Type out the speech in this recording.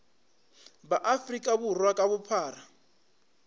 ba afrika borwa ka bophara